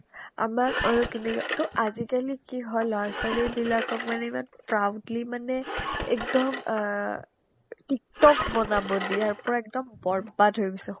আমাক আৰু কিনিনাতো আজিকালি কি হয় ল'ৰা-ছোৱালীবিলাকক ইমান proudly মানেএকদম অ tiktok বনাব দিয়ে ইয়াৰ পৰা একদম বৰ্বাদ হৈ গৈছে